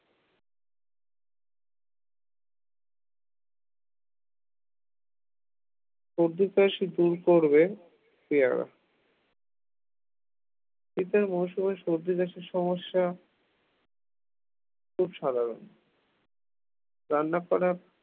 সর্দি কাশি দূর করবে পেয়ারা শীতের মৌসুমে সর্দি-কাশির সমস্যা খুব সাধারণ রান্না করা